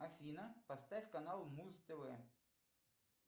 афина поставь канал муз тв